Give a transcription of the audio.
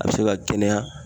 A be se ka kɛnɛ ya.